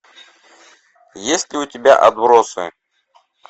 есть ли у тебя отбросы